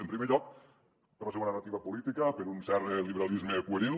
en primer lloc per la seua narrativa política per un cert liberalisme pueril